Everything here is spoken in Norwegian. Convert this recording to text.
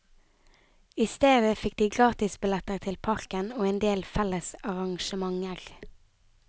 I stedet fikk de gratisbilletter til parken og endel felles arrangementer.